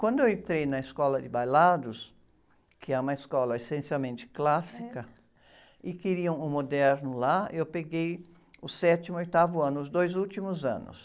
Quando eu entrei na escola de bailados, que é uma escola essencialmente clássica, e queriam o moderno lá, eu peguei o sétimo e o oitavo ano, os dois últimos anos.